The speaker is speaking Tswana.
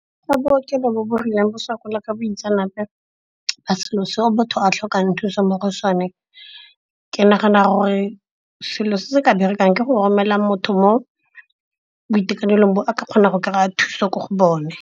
Fa bookelo bo bo rileng ba sokola ka boitseanape ba selo seo botho a tlhokang thuso mo go sone. Ke nagana gore selo se se ka berekang ka go romelela motho mo boitekanelong bo a ka kgona go kry-a thuso ko go bone.